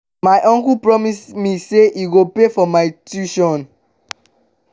my uncle promise me say he go pay for my tuition